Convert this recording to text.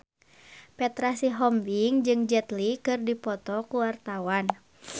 Petra Sihombing jeung Jet Li keur dipoto ku wartawan